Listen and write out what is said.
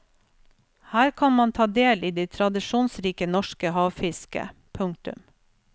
Her kan man ta del i det tradisjonsrike norske havfisket. punktum